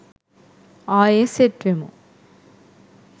ආයේ සෙට් වෙමු